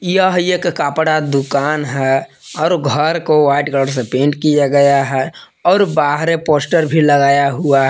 यह एक कपड़ा दुकान है और घर को व्हाइट कलर से पेंट किया गया है और बाहरे पोस्टर भी लगाया हुआ--